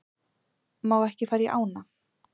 Má ekki fara í ána